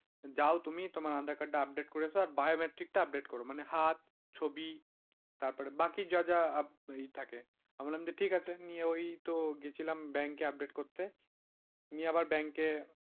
যাও তুমি তোমার aadhaar card টা update করে এসো আর biometric টা update করো, মানে হাত ছবি তারপরে বাকি যা যা থাকে আমি বললাম যে ঠিক আছে নিয়ে ওইতো গিয়েছিলাম ব্যাংকে update করতে। নিয়ে আবার ব্যাংকে,